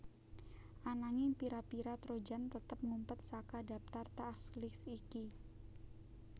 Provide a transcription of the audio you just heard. Ananging pira pira trojan tetep ngumpet saka dhaptar task list iki